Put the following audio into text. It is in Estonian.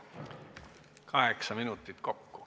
Kaheksa minutit kokku.